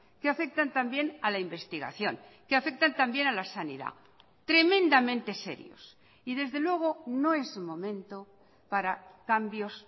que afectan también a la investigación que afectan también a la sanidad tremendamente serios y desde luego no es momento para cambios